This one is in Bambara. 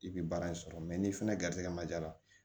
I bi baara in sɔrɔ n'i fɛnɛ garizigɛ ma ja la